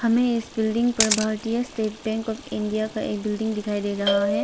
हमें इस बिल्डिंग पर भारतीय स्टेट बैंक ऑफ इंडिया का एक बिल्डिंग दिखाई दे रहा है।